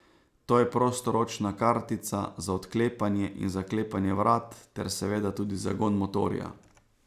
To je prostoročna kartica za odklepanje in zaklepanje vrat ter seveda tudi zagon motorja.